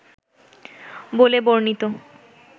বলে বর্ণিত